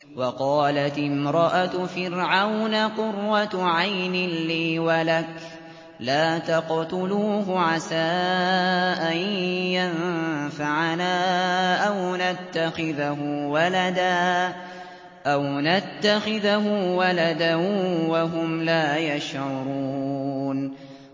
وَقَالَتِ امْرَأَتُ فِرْعَوْنَ قُرَّتُ عَيْنٍ لِّي وَلَكَ ۖ لَا تَقْتُلُوهُ عَسَىٰ أَن يَنفَعَنَا أَوْ نَتَّخِذَهُ وَلَدًا وَهُمْ لَا يَشْعُرُونَ